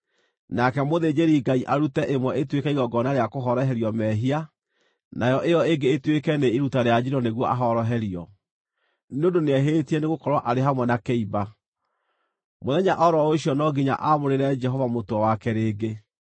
Nake mũthĩnjĩri-Ngai arute ĩmwe ĩtuĩke igongona rĩa kũhoroherio mehia, nayo ĩyo ĩngĩ ĩtuĩke nĩ iruta rĩa njino nĩguo ahoroherio, nĩ ũndũ nĩehĩtie nĩgũkorwo arĩ hamwe na kĩimba. Mũthenya o ro ũcio no nginya aamũrĩre Jehova mũtwe wake rĩngĩ.